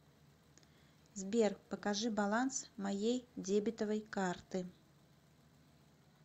сбер покажи баланс моей дебетовой карты